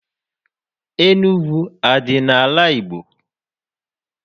Enugu adị n'ala Igbo?